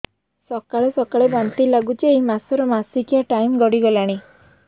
ସକାଳେ ସକାଳେ ବାନ୍ତି ଲାଗୁଚି ଏଇ ମାସ ର ମାସିକିଆ ଟାଇମ ଗଡ଼ି ଗଲାଣି